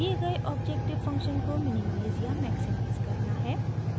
दिए गए objective function को मिनिमाइज़ या मॅक्सिमाइज़ करना है